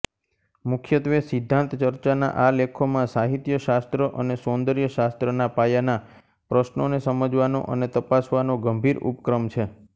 મુખ્યત્વે સિદ્ધાંતચર્ચાના આ લેખોમાં સાહિત્યશાસ્ત્ર અને સૌન્દર્યશાસ્ત્રના પાયાના પ્રશ્નોને સમજવાનો અને તપાસવાનો ગંભીર ઉપક્રમ છે